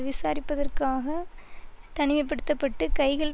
விசாரிப்பதற்காக தனிமை படுத்த பட்டு கைகள்